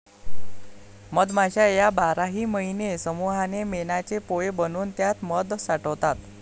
मधमाश्या या बाराही महिने समुहाने मेणाचे पोळे बनवून त्यात मध साठवतात.